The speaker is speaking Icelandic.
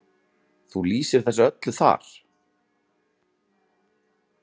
Þú lýsir þessu öllu þar?